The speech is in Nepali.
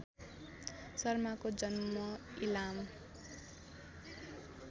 शर्माको जन्म इलाम